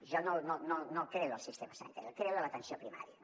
jo no el creo del sistema sanitari el creo de l’atenció primària